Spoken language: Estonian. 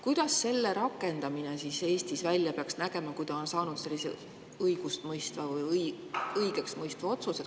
Kuidas selle rakendamine peaks Eestis välja nägema, kui ta on saanud õigeksmõistva otsuse?